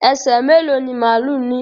ẹ ṣé, mẹ́lò ni máàlù ní?